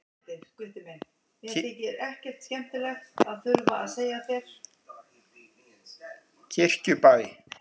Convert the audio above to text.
Kirkjubæ